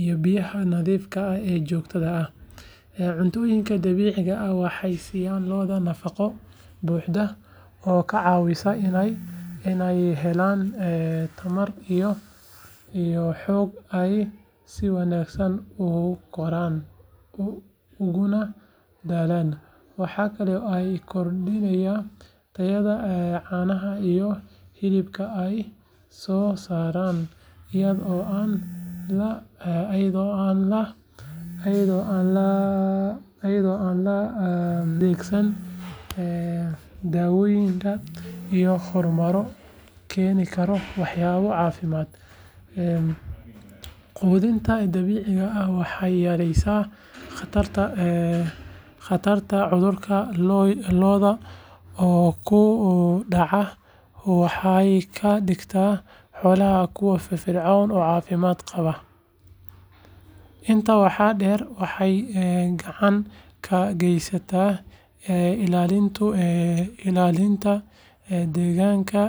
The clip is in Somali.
iyo biyaha nadiifta ah ee joogtada ah. Cuntooyinkan dabiiciga ah waxay siiyaan lo'da nafaqo buuxda oo ka caawisa inay helaan tamar iyo xoog ay si wanaagsan u koraan uguna dhalaan. Waxa kale oo ay kordhiyaan tayada caanaha iyo hilibka ay soo saaraan, iyadoo aan la adeegsan daawooyin iyo hormoonno keeni kara waxyeelo caafimaad. Quudinta dabiiciga ah waxay yaraysaa khatarta cudurrada lo'da ku dhaca waxayna ka dhigtaa xoolaha kuwo firfircoon oo caafimaad qaba. Intaa waxaa dheer, waxay gacan ka geysanaysaa ilaalinta deegaanka.